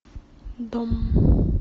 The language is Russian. дом